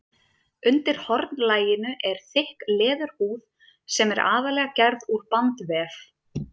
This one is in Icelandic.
Undir hornlaginu er þykk leðurhúð sem er aðallega gerð úr bandvef.